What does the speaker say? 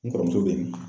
N kɔrɔmuso bɛ yen